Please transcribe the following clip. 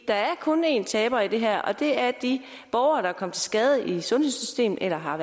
der er kun én taber i det her og det er de borgere der er kommet til skade i sundhedssystemet eller har